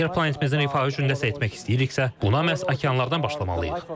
Əgər planetimizin rifahı üçün nəsə etmək istəyiriksə, buna məhz okeanlardan başlamalıyıq.